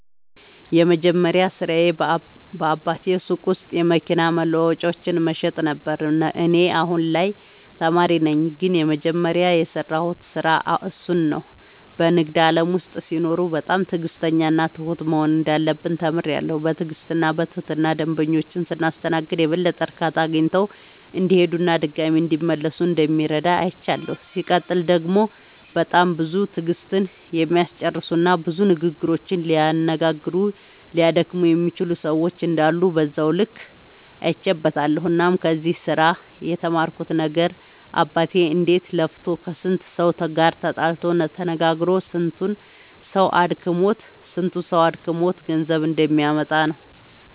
የመጀመሪያ ስራዬ በአባቴ ሱቅ ውስጥ የመኪና መለዋወጫዎችን መሸጥ ነበረ። እኔ አሁን ላይ ተማሪ ነኝ ግን የመጀመሪያ የሰራሁት ስራ እሱን ነው። በንግድ ዓለም ውስጥ ሲኖሩ በጣም ትዕግሥተኛና ትሁት መሆን እንዳለብን ተምሬያለሁ። በትዕግሥትና በትህትና ደንበኞቻችንን ስናስተናግድ የበለጠ እርካታ አግኝተው እንዲሄዱና ድጋሚም እንዲመለሱ እንደሚረዳ አይቻለሁ። ሲቀጥል ደግሞ በጣም ብዙ ትዕግሥትን የሚያስጨርሱና ብዙ ንግግሮችን ሊያነጋግሩና ሊያደክሙ የሚችሉ ሰዎች እንዳሉ በዛው ልክ አይቼበትበታለሁ። እናም ከዚህ ስራ የተማርኩት ነገር አባቴ እንዴት ለፍቶ ከስንቱ ሰው ጋር ተጣልቶ ተነጋግሮ ስንቱ ሰው አድክሞት ገንዘብ እንደሚያመጣ ነው።